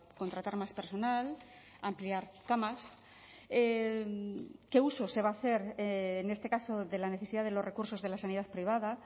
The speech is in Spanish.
contratar más personal ampliar camas qué uso se va a hacer en este caso de la necesidad de los recursos de la sanidad privada